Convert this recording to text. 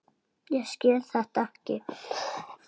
Skil þetta ekki.